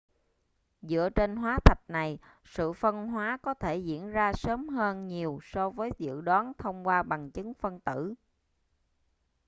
dựa trên hóa thạch này sự phân hóa có thể đã diễn ra sớm hơn nhiều so với dự đoán thông qua bằng chứng phân tử